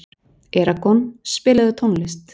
Eragon, spilaðu tónlist.